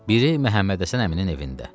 Biri Məhəmmədhəsən əminin evində.